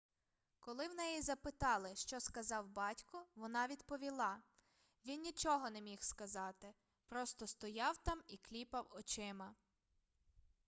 коли в неї запитали що сказав батько вона відповіла він нічого не міг сказати просто стояв там і кліпав очима